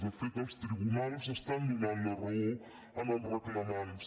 de fet els tribunals estan donant la raó als reclamants